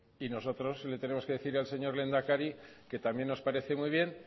y nosotros le tenemos que decir al señor lehendakari que también nos parece muy bien